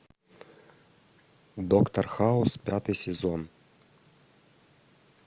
доктор хаус пятый сезон